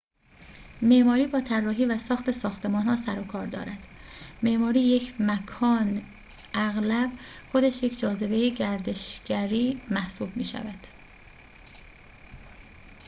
معماری با طراحی و ساخت ساختمان‌ها سر و کار دارد معماری یک مکان اغلب خودش یک جاذبه گردشگری محسوب می‌شود